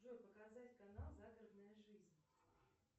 джой показать канал загородная жизнь